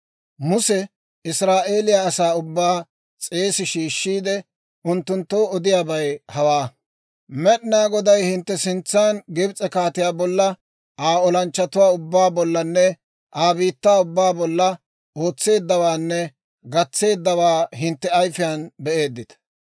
Muse Israa'eeliyaa asaa ubbaa s'eesi shiishiide, unttunttoo odiyaabay hawaa: «Med'inaa Goday hintte sintsan Gibs'e kaatiyaa bolla, Aa olanchchatuwaa ubbaa bollanne Aa biittaa ubbaa bolla ootseeddawaanne gatseeddawaa hintte ayifiyaan be'eeddita.